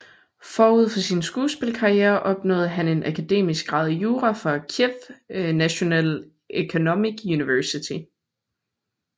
Forud for sin skuespillerkarriere opnåede han en akademisk grad i jura fra Kyiv National Economic University